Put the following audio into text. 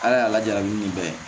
Ala y'a lajarabi nin bɛɛ ye